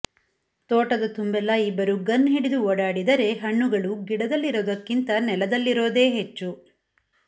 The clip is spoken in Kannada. ತೋಟದ ತುಂಬೆಲ್ಲಾ ಇಬ್ಬರು ಗನ್ ಹಿಡಿದು ಓಡಾಡದಿದರೆ ಹಣ್ಣುಗಳು ಗಿಡದಲ್ಲಿರೋದಕ್ಕಿಂತ ನೆಲದಲ್ಲಿರೋದೆ ಹೆಚ್ಚು